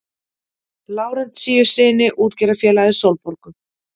Lárentsíussyni útgerðarfélagið Sólborgu.